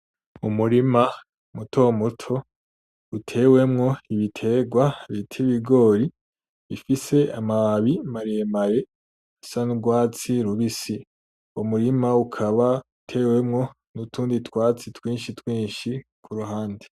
Umurima muto muto utewemwo ibitegwa bita ibigori bifise amababi maremare asa n'urwatsi rubisi, uwo murima ukaba utewemwo n'utundi twatsi twinshi twinshi kuruhande.